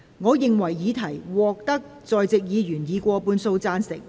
我認為議題獲得在席議員以過半數贊成。